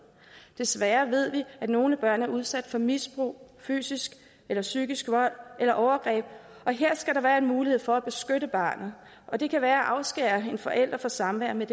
desværre ved vi at nogle børn er udsat for misbrug fysisk eller psykisk vold eller overgreb og her skal der være mulighed for at beskytte barnet og det kan være at afskære en forælder fra samvær med